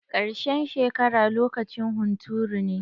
Karshen shekara lokacin hunturu ne.